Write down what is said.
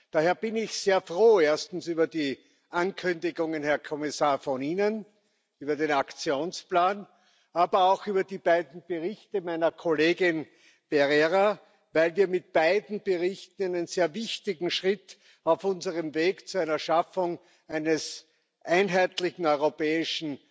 Daher bin ich sehr froh, erstens über die Ankündigungen, Herr Kommissar, von Ihnen über den Aktionsplan, aber auch über die beiden Berichte meiner Kollegin Pereira, weil wir mit beiden Berichten einen sehr wichtigen Schritt auf unserem Weg zu einer Schaffung eines einheitlichen europäischen